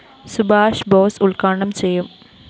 സുബാഷ് ബോസ്‌ ഉദ്ഘാടനം ചെയ്യും